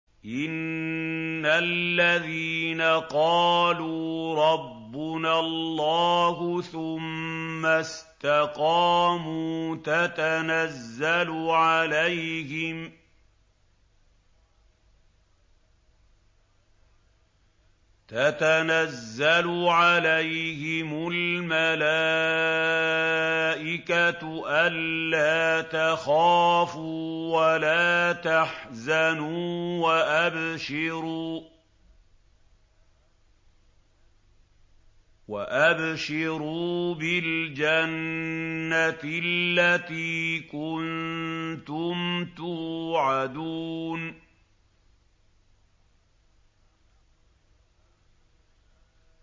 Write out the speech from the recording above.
إِنَّ الَّذِينَ قَالُوا رَبُّنَا اللَّهُ ثُمَّ اسْتَقَامُوا تَتَنَزَّلُ عَلَيْهِمُ الْمَلَائِكَةُ أَلَّا تَخَافُوا وَلَا تَحْزَنُوا وَأَبْشِرُوا بِالْجَنَّةِ الَّتِي كُنتُمْ تُوعَدُونَ